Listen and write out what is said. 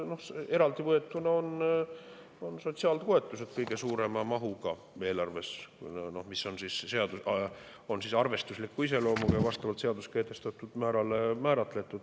Eraldi võetuna on sotsiaaltoetused eelarves kõige suurema mahuga, nad on arvestusliku iseloomuga ja määratletud vastavalt seaduses kehtestatud määrale.